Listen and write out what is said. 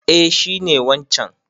Eh shi ne wancan.